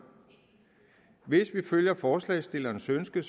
hvis vi følger forslagsstillernes ønske